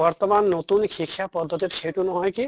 বৰ্তমান নতুন শিক্ষা পদ্ধ্তিত সেইটো নহয় কি